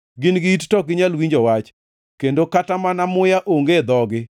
Gin gi it, to ok ginyal winjo wach, kendo kata mana muya onge e dhogi.